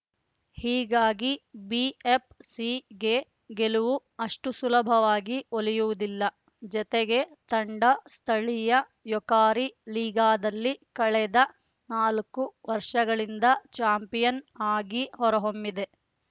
ಹೀಗಾಗಿ ಬಿಎಫ್‌ಸಿಗೆ ಗೆಲುವು ಅಷ್ಟುಸುಲಭವಾಗಿ ಒಲಿಯುವುದಿಲ್ಲ ಜತೆಗೆ ತಂಡ ಸ್ಥಳೀಯ ಯೊಕಾರಿ ಲೀಗಾದಲ್ಲಿ ಕಳೆದ ನಾಲ್ಕು ವರ್ಷಗಳಿಂದ ಚಾಂಪಿಯನ್‌ ಆಗಿ ಹೊರಹೊಮ್ಮಿದೆ